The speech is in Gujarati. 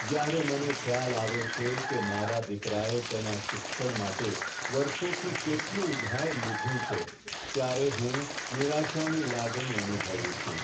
જ્યારે મને ખ્યાલ આવે છે કે મારા દીકરાએ તેના શિક્ષણ માટે વર્ષોથી કેટલું ઉધાર લીધું છે, ત્યારે હું નિરાશાની લાગણી અનુભવું છું.